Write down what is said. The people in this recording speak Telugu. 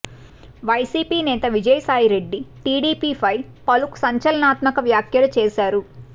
వైసీపీ నేత విజయసాయిరెడ్డి టీడీపీ ఫై పలు సంచలనాత్మక వ్యాఖ్యలు చేసారు